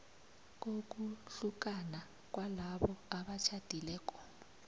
kokuhlukana kwalabo abatjhadileko